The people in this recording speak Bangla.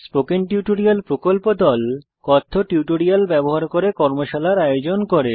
স্পোকেন টিউটোরিয়াল প্রকল্প দল কথ্য টিউটোরিয়াল ব্যবহার করে কর্মশালার আয়োজন করে